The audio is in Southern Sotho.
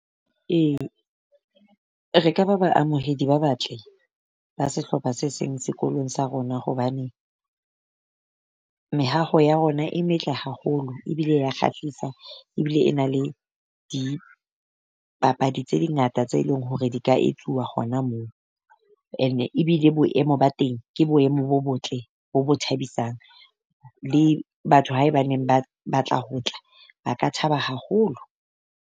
Ee re ka ba baamohedi ba batle ba sehlopha se seng sekolong sa rona hobane, mehaho ya rona e metle haholo ebile ya kgahlisa ebile e na le di papadi tse ngata, tse leng hore di ka e tloha hona moo. And ebile boemo ba teng ke boemo bo botle bo bo thabisang. le batho haebaneng ba batla ho tla ba ka thaba haholo.